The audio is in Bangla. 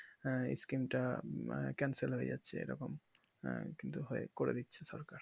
আঃ screen তা cancel হয়ে যাচ্ছে এরকম আঃ কিন্তু হয় করে দিচ্ছে সরকার